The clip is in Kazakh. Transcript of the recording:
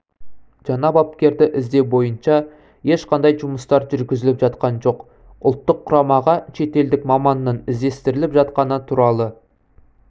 жаңа бапкерді іздеу бойынша ешқандай жұмыстар жүргізіліп жатқан жоқ ұлттық құрамаға шетелдік маманның іздестіріліп жатқаны туралы